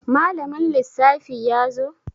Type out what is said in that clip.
Malamin lissafi yazo?